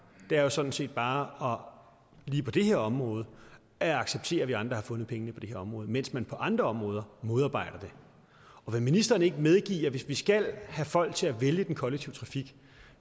er sådan set bare lige på det her område at acceptere at vi andre har fundet pengene på det her område mens man på andre områder modarbejder det vil ministeren ikke medgive at hvis vi skal have folk til at vælge den kollektive trafik